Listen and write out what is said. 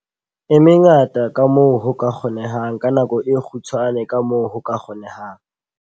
E mengata kamoo ho ka kgonehang ka nako e kgutshwane kamoo ho ka kgonehang.